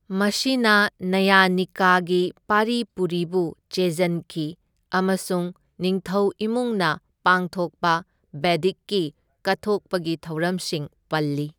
ꯃꯁꯤꯅ ꯅꯌꯥꯅꯤꯀꯥꯒꯤ ꯄꯥꯔꯤ ꯄꯨꯔꯤꯕꯨ ꯆꯦꯖꯟꯈꯤ ꯑꯃꯁꯨꯡ ꯅꯤꯡꯊꯧ ꯏꯃꯨꯡꯅ ꯄꯥꯡꯊꯣꯛꯄ ꯕꯦꯗꯤꯛꯀꯤ ꯀꯠꯊꯣꯛꯄꯒꯤ ꯊꯧꯔꯝꯁꯤꯡ ꯄꯜꯂꯤ꯫